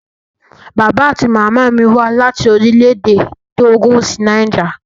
Bàbá àti màmá mí wá láti Orílẹ̀-èdè Tógò sí Niger.